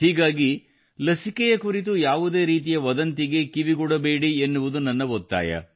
ಹೀಗಾಗಿ ಲಸಿಕೆಯ ಕುರಿತು ಯಾವುದೇ ರೀತಿಯ ವದಂತಿಗೆ ಕಿವಿಗೊಡಬೇಡಿ ಎನ್ನುವುದು ನನ್ನ ಒತ್ತಾಯ